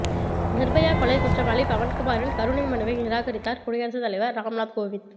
நிர்பயா கொலை குற்றவாளி பவன்குமாரின் கருணை மனுவை நிராகரித்தார் குடியரசுத் தலைவர் ராம்நாத் கோவிந்த்